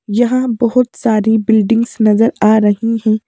यहां बहोत सारी बिडिंग्स नजर आ रही हैं।